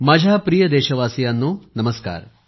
माझ्या प्रिय देशवासियांनो नमस्कार